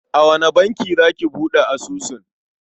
A wane banki za ki buɗe asusun?